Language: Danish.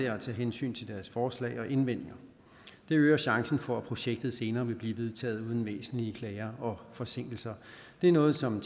at tage hensyn til deres forslag og indvendinger det øger chancen for at projektet senere vil blive vedtaget uden væsentlige klager og forsinkelser det er noget som